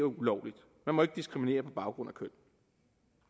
ulovligt man må ikke diskriminere på baggrund af køn